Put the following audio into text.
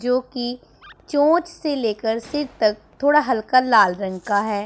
जो की चोंच से लेकर सिर तक थोड़ा हल्का लाल रंग का हैं।